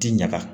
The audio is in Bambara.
Ti ɲaga